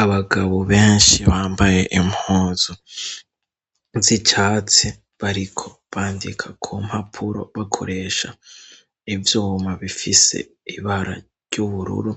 Abagabo benshi bambaye impuzu z'icatsi, bariko bandika ku mpapuro bakoresha ivyuma bifise ibara ry'ubururu.